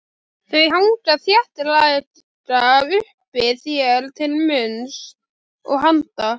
Þau hanga þéttlega uppi þér til munns og handa.